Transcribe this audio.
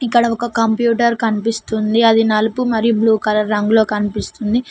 ఇక్కడ ఒక కంప్యూటర్ కనిపిస్తుంది అది నలుపు మరియు బ్లూ కలర్ రంగులో కనిపిస్తుంది